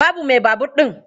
Babu mai a babur ɗin.